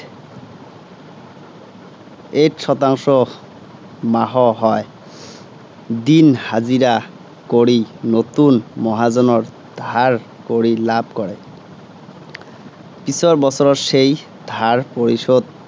eight শংতাংশ, মাহ হয়। দিন হাজিৰা কৰি নতু মহাজনৰ ধাৰ কৰি লাভ কৰে। পিছৰ বছৰত সেই ধাৰ পৰিশােধ